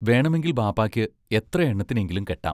വേണമെങ്കിൽ ബാപ്പായ്ക്ക് എത്രയെണ്ണത്തിനെയെങ്കിലും കെട്ടാം.